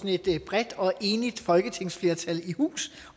et bredt og enigt folketingsflertal i hus